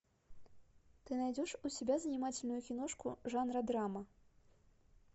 ты найдешь у себя занимательную киношку жанра драма